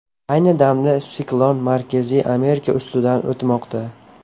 Ayni damda siklon Markaziy Amerika ustidan o‘tmoqda.